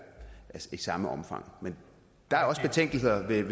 i samme omfang der er også betænkeligheder ved